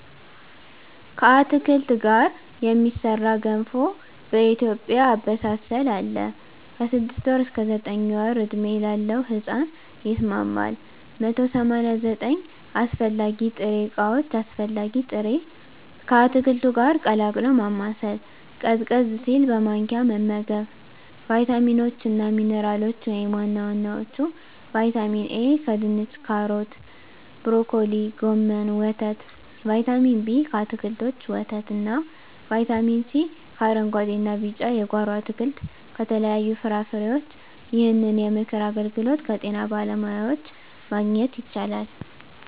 ከአትክልት ጋር የሚሠራ ገንፎ በኢትዮጵያ አበሳሰል አለ። ከ6 ወር እስከ 9 ወር ዕድሜ ላለው ሕጻን ይስማማል። 189 አስፈላጊ ጥሬ ዕቃዎች አስፈላጊ ጥሬ...፣ ከአትክልቱ ጋር ቀላቅሎ ማማሰል፣ ቀዝቀዝ ሲል በማንኪያ መመገብ። , ቫይታሚኖች እና ሚንራሎች(ዋና ዋናዎቹ) ✔️ ቫይታሚን ኤ: ከድንች ካሮት ብሮኮሊ ጎመን ወተት ✔️ ቫይታሚን ቢ: ከአትክልቶች ወተት እና ✔️ ቫይታሚን ሲ: ከአረንጉአዴ እና ቢጫ የጓሮ አትክልት ከተለያዩ ፍራፍሬዎች ይህንን የምክር አገልግሎት ከጤና ባለሙያዎች ማግኘት ይቻላል።